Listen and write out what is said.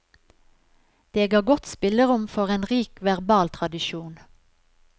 Det ga godt spillerom for en rik verbal tradisjon.